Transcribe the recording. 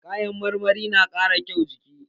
Kayan marmari na ƙara kyaun jiki.